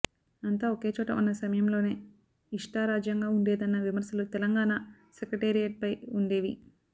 అంతా ఒకే చోట ఉన్న సమయంలోనే ఇష్టారాజ్యంగా ఉండేదన్న విమర్శలు తెలంగాణ సెక్రటేరియట్పై ఉండేవి